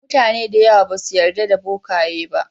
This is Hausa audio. Mutane da yawa basu yarda da bokaye ba.